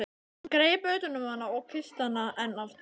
Hann greip utan um hana og kyssti hana enn aftur.